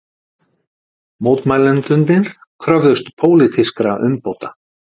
Mótmælendurnir kröfðust pólitískra umbóta